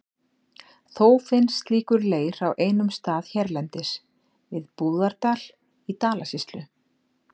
Þó finnst slíkur leir á einum stað hérlendis, við Búðardal í Dalasýslu.